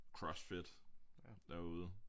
Crossfit derude